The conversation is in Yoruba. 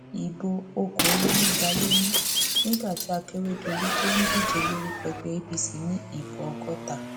ibo okòólénígba ló ní nígbà tí akérèdọlù tó ń díje lórúkọ ẹgbẹ apc ní ìbò ọgọta